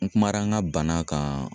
N kumana n ka bana kan